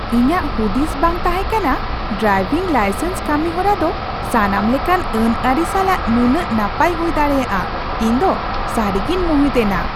ᱤᱧᱟᱜ ᱦᱩᱫᱤᱥ ᱵᱟᱝ ᱛᱟᱦᱮᱸ ᱠᱟᱱᱟ ᱰᱨᱟᱭᱵᱷᱤᱝ ᱞᱟᱭᱥᱮᱱᱥ ᱠᱟᱹᱢᱤᱦᱚᱨᱟ ᱫᱚ ᱥᱟᱱᱟᱢ ᱞᱮᱠᱟᱱ ᱟᱹᱱᱼᱟᱹᱨᱤ ᱥᱟᱞᱟᱜ ᱱᱩᱱᱟᱹᱜ ᱱᱟᱯᱟᱭ ᱦᱩᱭ ᱫᱟᱲᱮᱭᱟᱜᱼᱟ ᱾ ᱤᱧᱫᱚ ᱥᱟᱹᱨᱤᱜᱮᱧ ᱢᱩᱦᱤᱛ ᱮᱱᱟ ᱾